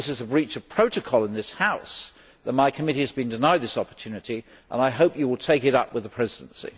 I think it is a breach of protocol in this House that my committee has been denied this opportunity, and I hope that you will take this up with the Presidency.